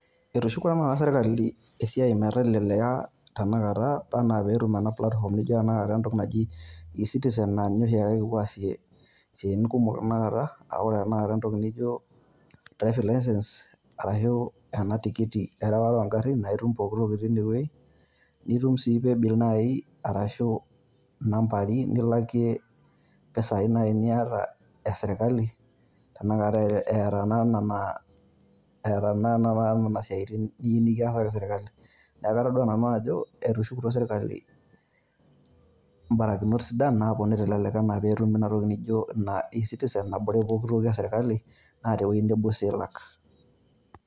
Etushukutuo sirkali esiai meteleleka tanakata enaa pee etum ena platform naijo tanakata ena naji eCitizen naa ninye oshi taata kipuo aasie esiatin kumok naijio tenakata neijio naiusu laisense arashu ena tikiti ereware oogarrin, nitum sii Pay bill arashu inambari nilakie naaji empisai niata esirkali tenakata eeta naa ena naa etaa naa tanakata Nena siatin niyieu nikiasaki sirkali neeku atodua Nanu ajo ore etushukutuo sirkali ebarakinot sidan enaa peeponu aashuku Ina toki naijio naaji eCitizen nabore pooki toki esirkali naa teine sii elak.